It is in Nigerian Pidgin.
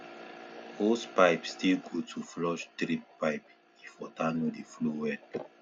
hosepipe still good to flush drip pipe if water no dey flow well